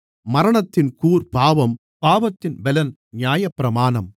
மரணத்தின் கூர் பாவம் பாவத்தின் பெலன் நியாயப்பிரமாணம்